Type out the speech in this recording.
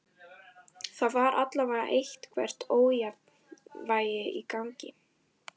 Það var allavega eitthvert ójafnvægi í gangi.